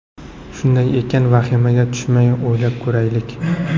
Shunday ekan, vahimaga tushmay o‘ylab ko‘raylik.